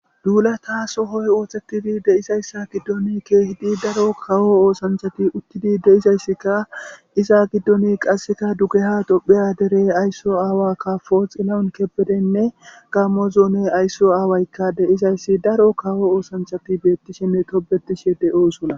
Duulata sohoy oothetidi deizayssa giddoni keehidi daro kawo oosanchati uttidi de'izayssikka iza giddoni qasseka dugeha dopheya dere aysso aawa kafo xillawun kebedenne gammo zoone aysso aawaykka de'izayssi daro kawo oosanchati beettishinne tobetishe de'oosona